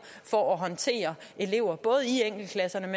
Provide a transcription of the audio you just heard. for håndtering af elever